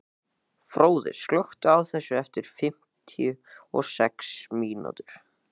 Fróði, slökktu á þessu eftir fimmtíu og sex mínútur.